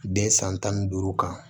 Den san tan ni duuru kan